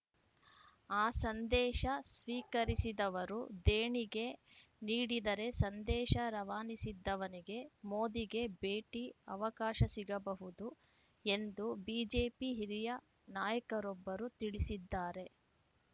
ಆ ಸಂದೇಶ ಸ್ವೀಕರಿಸಿದವರೂ ದೇಣಿಗೆ ನೀಡಿದರೆ ಸಂದೇಶ ರವಾನಿಸಿದ್ದವನಿಗೆ ಮೋದಿಗೆ ಭೇಟಿ ಅವಕಾಶ ಸಿಗಬಹುದು ಎಂದು ಬಿಜೆಪಿ ಹಿರಿಯ ನಾಯಕರೊಬ್ಬರು ತಿಳಿಸಿದ್ದಾರೆ